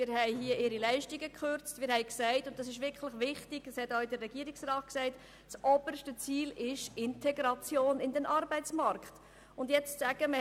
Wir haben ihre Leistungen gekürzt und genau wie der Regierungsrat die Integration in den Arbeitsmarkt als oberstes Ziel deklariert.